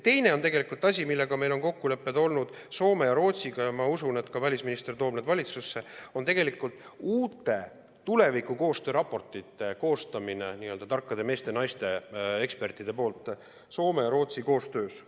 Teine asi, meil on kokkulepped olnud Soome ja Rootsiga, ja ma usun, et välisminister toob need valitsusse, s.o uute tulevikukoostöö raportite koostamine tarkade meeste ja naiste, ekspertide poolt Soome ja Rootsiga koostöös.